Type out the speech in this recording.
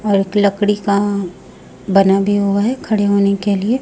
और एक लकड़ी का बना भी हुआ है खड़े होने के लिए।